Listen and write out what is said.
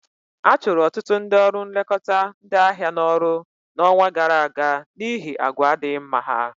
A chụrụ ọtụtụ ndị ọrụ nlekọta ndị ahịa n'ọrụ n'ọnwa gara aga n'ihi àgwà adịghị mma ha